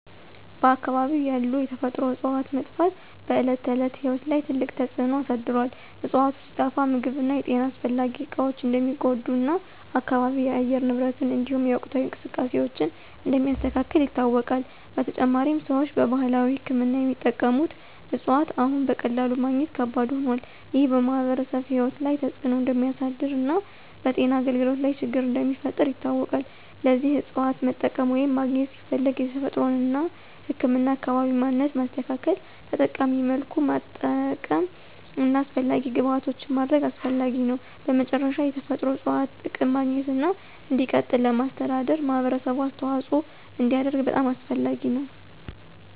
በአካባቢው ያሉ የተፈጥሮ እፅዋት መጥፋት በዕለት ተዕለት ሕይወት ላይ ትልቅ ተጽዕኖ አሳድሮአል። እፅዋቱ ሲጠፋ ምግብ እና የጤና አስፈላጊ እቃዎች እንደሚጎዱ እና አካባቢው የአየር ንብረትን እንዲሁም የወቅታዊ እንቅስቃሴዎችን እንደሚያስተካክል ይታወቃል። በተጨማሪም፣ ሰዎች በባህላዊ ሕክምና የሚጠቀሙት እፅዋት አሁን በቀላሉ ማግኘት ከባድ ሆኗል። ይህ በማኅበረሰቡ ሕይወት ላይ ተጽዕኖ እንደሚያሳድር እና በጤና አገልግሎት ላይ ችግር እንደሚፈጥር ይታወቃል። ለዚህ እፅዋትን መጠቀም ወይም ማግኘት ሲፈለግ የተፈጥሮን እና ህክምናን አካባቢ ማንነት ማስተካከል፣ ተጠቃሚ መልኩ ማጠቀም እና አስፈላጊ ግብዓቶችን ማድረግ አስፈላጊ ነው። በመጨረሻ፣ የተፈጥሮ እፅዋት ጥቅም ማግኘትና እንዲቀጥል ለማስተዳደር ማህበረሰቡ አስተዋጽኦ እንዲያደርግ በጣም አስፈላጊ ነው።